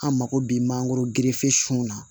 An mako bi mangoro na